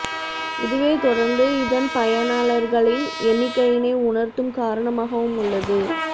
இதுவே தொடர்ந்து இதன் பயனாளர்களின் எண்ணிக்கையினை உயர்த்தும் காரணமாக வும் உள்ளது